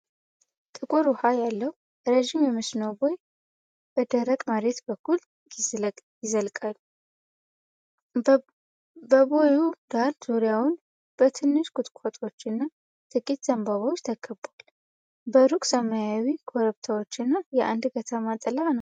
ጥቁር ውሃ ያለው ረዥም የመስኖ ቦይ በደረቅ መሬት በኩል ይዘልቃል። በቦዩ ዳር ዙሪያውን በትንሽ ቁጥቋጦዎችና ጥቂት ዘንባባዎች ተከቧል። በሩቅ ሰማያዊ ኮረብቶችና የአንድ ከተማ ጥላ ነው።